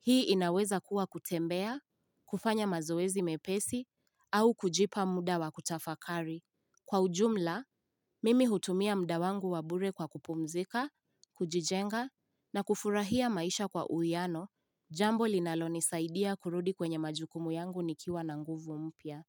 Hii inaweza kuwa kutembea, kufanya mazoezi mepesi au kujipa muda wakutafakari. Kwa ujumla, mimi hutumia mda wangu wabure kwa kupumzika, kujijenga na kufurahia maisha kwa uiano, jambo linaloni saidia kurudi kwenye majukumu yangu nikiwa na nguvu mpya.